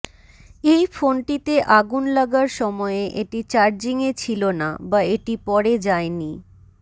এই ফোনটিতে আগুন লাগার সময়ে এটি চার্জিংয়ে ছিল না বা এটি পরে জায়নি